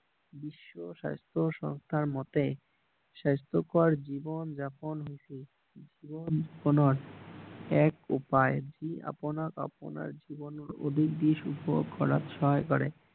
বিশ্ব স্বাস্থ্য সংস্থাৰ মতে স্বাস্থ্যকৰ জীৱন যাপন হৈছে জীৱন যাপনৰ এক উপায় যি আপোনাক আপোনাৰ জীৱন কৰাত সহায় কৰে